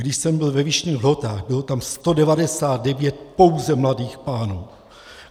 Když jsem byl ve Vyšných Lhotách, bylo tam 199 pouze mladých pánů.